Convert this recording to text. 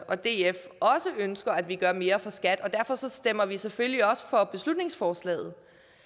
og df også ønsker at vi gør mere for skat derfor stemmer vi selvfølgelig også for beslutningsforslaget